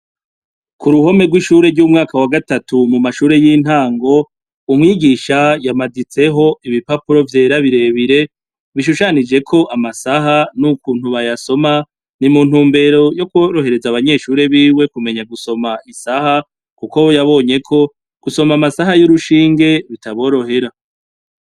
Ku ruhome rw'ishure ry'umaka wa gatatu mumashure y'intango, umwigisha yamaditseho ibipapuro vyera birebire bishushanijeko amasaha n'ukuntu bayasoma ni muntumbero yokworohereza abanyeshure biwe kumenya gusoma isaha kuko we yabonye ko gusoma amasaha y'urushinge bitaborohera.